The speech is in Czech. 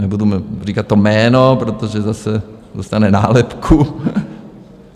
Nebudu říkat to jméno, protože zase dostane nálepku.